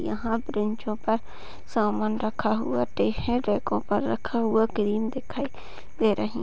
यहाँ बेंचो पर सामान रखा हुवा है रैक पर रखा हुआ क्रीम दिखाई दे रही।